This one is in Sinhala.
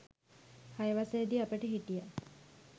හය වසරෙදි අපට හිටියා